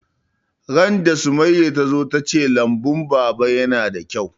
Ran da Summaya ta zo ta ce lambun baba yana da kyau